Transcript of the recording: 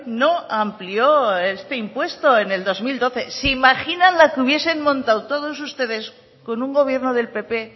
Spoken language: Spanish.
no amplió este impuesto en el dos mil doce se imaginan la que hubiesen montado todos ustedes con un gobierno del pp